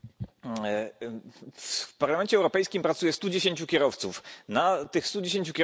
W Parlamencie Europejskim pracuje stu dziesięciu kierowców, na tych stu dziesięciu kierowców przypadają dwie kobiety.